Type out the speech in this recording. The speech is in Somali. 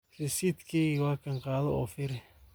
Risitkeygu wakan ,kaado oo firix.